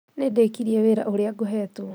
Nĩndĩkirie wĩra ũrĩa ngũheetwo